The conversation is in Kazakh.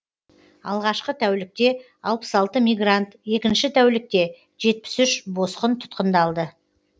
алғашқы тәулікте алпыс алты мигрант екінші тәулікте жетпіс үш босқын тұтқындалды